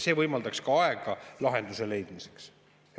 See võimaldaks ka aega lahenduse leidmiseks.